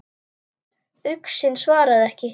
Uxinn svaraði ekki.